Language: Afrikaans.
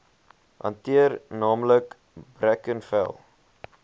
hanteer naamlik brackenfell